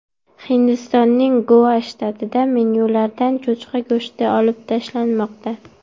Hindistonning Goa shtatida menyulardan cho‘chqa go‘shti olib tashlanmoqda.